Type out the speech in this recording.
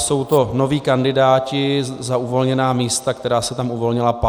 Jsou to noví kandidáti za uvolněná místa, která se tam uvolnila 5. dubna.